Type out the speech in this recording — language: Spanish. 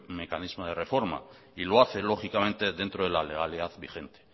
mecanismo de reforma y lo hace lógicamente dentro de la legalidad vigente